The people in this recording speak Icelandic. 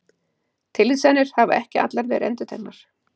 Tilvísanir hafa ekki allar verið endurteknar.